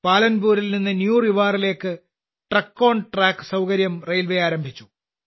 പാലൻപൂരിൽനിന്ന് new റിവാറിയിലേക്ക് truck on track സൌകര്യം railway ആരംഭിച്ചു